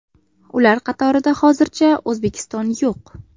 Ular qatorida hozircha O‘zbekiston yo‘q.